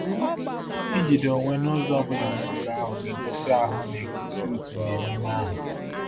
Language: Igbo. Ijide onwe n’ụzọ ọ bụla n’oge ahụ ga-egosi ahụ ga-egosi òtù n’emume ahụ.